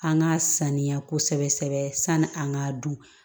An ka sanuya kosɛbɛ sɛbɛ sani an k'a dun